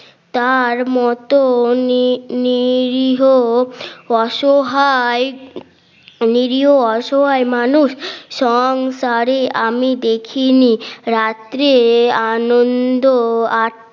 তার মতো নি নিরীহ অসহায় নিরীহ অসহায় মানুষ সংসারী আমি দেখিনি রাত্রে আনন্দ